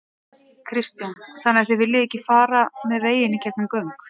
Kristján: Þannig þið viljið ekki fara með veginn í gegnum göng?